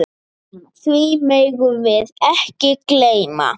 Því megum við ekki gleyma.